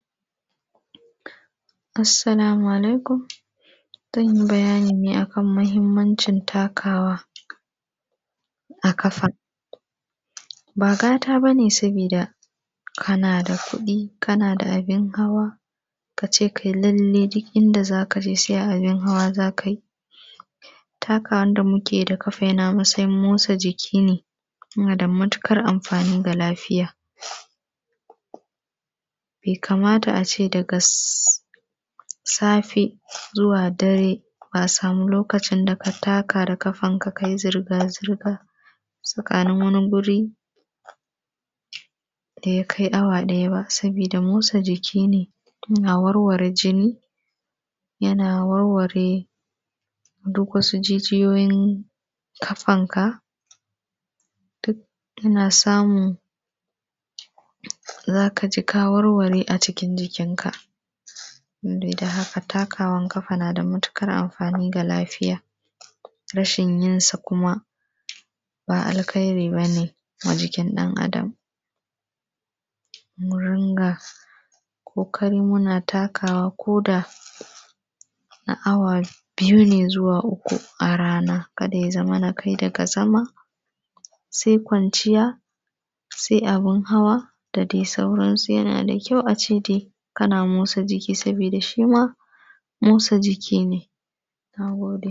Assalamu alaikum. Zan yi bayani ne a kan muhimmancin takawa, a ƙafa. Ba gata ba ne sabida, kana da kuɗi, kana da abin hawa, ka ce kai lallai duk inda za ka je sai a abin hawa za ka yi. Takawan da muke yi da ƙafa yana matsayin motsa jiki ne, yana da matuƙar amfani ga lafiya. Bai kamata a ce daga safe zuwa dare, ba a samu lokacin da ka taka da ƙafanka ka yi zirga-zirga, tsakanin wani guri, da ya kai awa ɗaya ba. Sabida, motsa jiki ne, yana warware jini, yana warware duk wasu jijiyoyin ƙafanka. Duk kana samu, za ka ji ka warware a cikin jikinka. In dai ta haka takawan ƙafa na da matuƙar amfani ga lafiya. Rashin yin sa kuma, ba alkhairi ba ne a jikin ɗan'adam. Mu runga ƙoƙari muna takawa, ko da na awa biyu ne zuwa uku a rana. Kada ya zamana kai daga zama, sai kwanciya, sai abun hawa, da dai sauransu. Yana da kyau a ce dai, kana motsa jiki sabida shi ma, motsa jiki ne. Na gode.